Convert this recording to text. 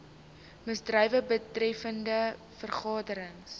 misdrywe betreffende vergaderings